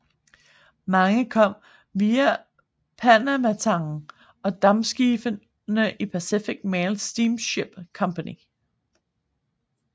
Mange kom via Panamatangen og dampskibene i Pacific Mail Steamship Company